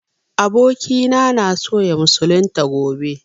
Abokina na so ya musulunta gobe